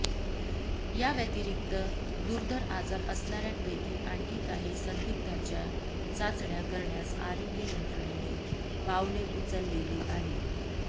या व्यतिरिक्त दुर्धर आजार असणाऱ्यांपैकी आणखी काही संदिग्धांच्या चाचण्या करण्यास आराेग्य यंत्रणेने पावले उचललेली आहेत